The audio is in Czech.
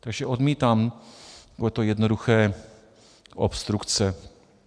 Takže odmítám tohle jednoduché - obstrukce.